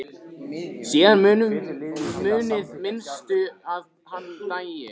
Síðan munaði minnstu að hann dæi.